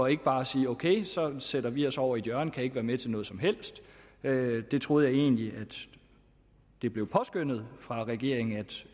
ikke bare sige ok så sætter vi os over i et hjørne og kan ikke være med til noget som helst jeg troede egentlig at det blev påskønnet fra regeringens